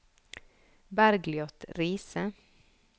Bergliot Riise